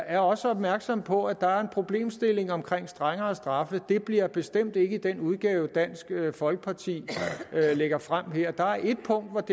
er også opmærksomme på at der er en problemstilling omkring strengere straffe det bliver bestemt ikke i den udgave dansk folkeparti lægger frem her der er ét punkt